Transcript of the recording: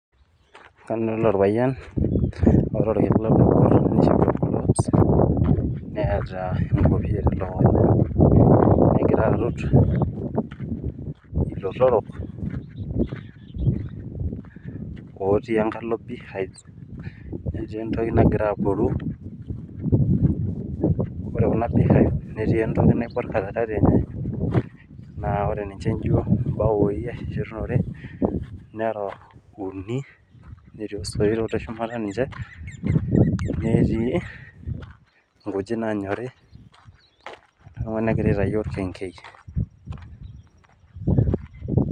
adolita ormapayian naijo olorutito ilotorok otii enkalo pihite lootii entoki natii enkalo osoit netii inkujit naanyori negira aitayu orkengei